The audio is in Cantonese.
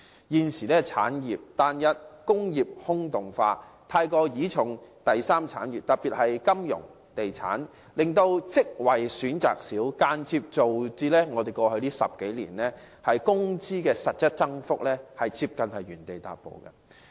現時香港產業單一，工業"空洞化"，過度倚賴第三產業，特別是金融和地產，令職位選擇減少，間接造成過去10多年的工資實質增幅幾乎原地踏步。